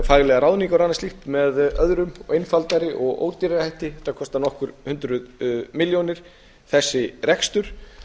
faglegar ráðningar og annað slíkt með öðrum og einfaldari og ódýrari hætti þetta kostar nokkur hundruð milljónir þessi rekstur